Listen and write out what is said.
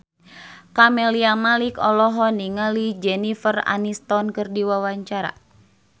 Camelia Malik olohok ningali Jennifer Aniston keur diwawancara